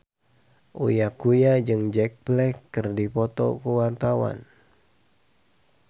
Uya Kuya jeung Jack Black keur dipoto ku wartawan